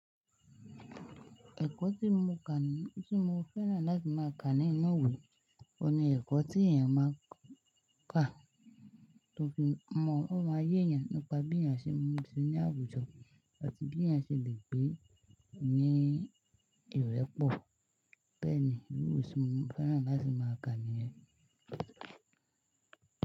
Ẹ̀kọ́ tí mo kà ní, tí mo fẹ́ràn láti máa ka ní ìnu ìwé, òun ni ẹ̀kọ́ tí èèyàn máa kà tó fi mọ̀, ó máa yéyàn nípa bí èèyàn ṣe ń ma n ṣe ní àwùjọ àti bí èèyàn ṣe lè gbé ní ìwé pọ̀. Bẹ́ẹ̀ ni, ìwé tí mo fẹ́ràn láti máa ka ní.